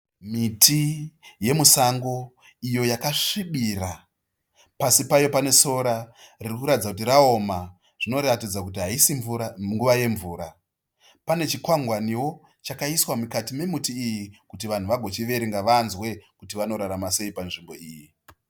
Miti yemusango iyo yakasvibira, pasi payo panesora ririkuratidza kuti raoma. Zvinoratidza kuti haisi nguva yemvura. Pane chikwangwaniwo chakaiswa mukati memuti uyu chakaiswa kuti vanhu vagochiverenga vanzwe kuti vanorarama sei panzvimbo iyi.